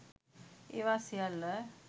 ඒවා සියල්ල